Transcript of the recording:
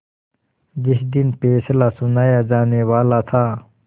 जिस दिन फैसला सुनाया जानेवाला था